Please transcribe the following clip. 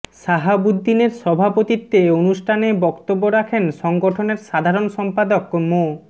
শাহাবুদ্দিনের সভাপতিত্বে অনুষ্ঠানে বক্তব্য রাখেন সংগঠনের সাধারণ সম্পাদক মো